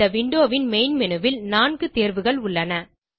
இந்த விண்டோ ன் main menu ல் 4 தேர்வுகள் உள்ளன